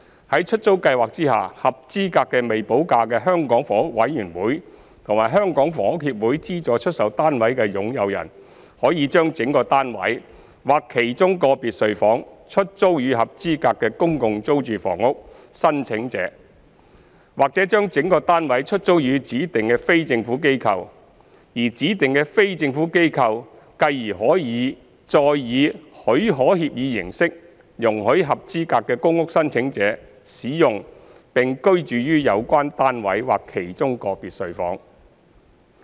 在出租計劃下，合資格的未補價的香港房屋委員會和香港房屋協會資助出售單位的擁有人，可將整個單位或其中個別睡房出租予合資格的公共租住房屋申請者，或將整個單位出租予指定的非政府機構，而指定的非政府機構繼而可再以許可協議形式，容許合資格的公屋申請者使用並居住於有關單位或其中個別睡房。